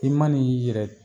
I ma n'i y'i yɛrɛ